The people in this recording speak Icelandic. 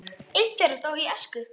Eitt þeirra dó í æsku.